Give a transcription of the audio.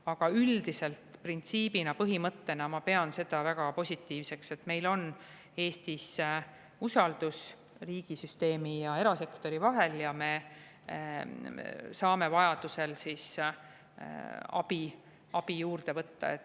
Aga üldiselt printsiibina, põhimõttena ma pean seda väga positiivseks, et meil on Eestis usaldus riigisüsteemi ja erasektori vahel ja me saame vajadusel abi juurde võtta.